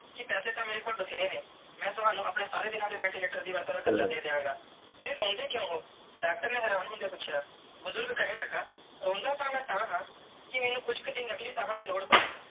ਕੇ ਪੈਸੇ ਤੇ ਮੇਰੇ ਕੋਲ ਬੈਤੇਰੇ ਨੇ ਮੈਂ ਤਵਣੁ ਆਪਣੇ ਸਾਰੇ ਦੀਨਾ ਦੇ ventilator ਦਾ ਵੱਧ ਤੂੰ ਵੱਧ ਹਾਰਚਾ ਦੇ ਦੀਆ ਗਏ ਫਿਰ ਰੋਂਦੇ ਕ੍ਯੂਂ ਹੋ ਡਾਕਟਰ ਨੇ ਹੈਰਾਨ ਹੋਂਦਿਆ ਪੂਛਿਆ ਬੁਜ਼ਰਗ ਕੇਹਨ ਲਗਾ ਹੋਂਦ ਤੇ ਮੈਂ ਤਹਾ ਕੇ ਕੁਛ ਕਿ ਦਿਨ ਨਕਲੀ ਸਾਹ ਦੀ ਲੋੜ ਪੈ.